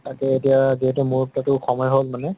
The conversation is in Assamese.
তাকে এতিয়া যিহেতু মোৰ তাতো সময় হʼল মানে